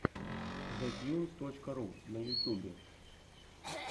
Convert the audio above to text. зэтьюнс точка ру на ютьюбе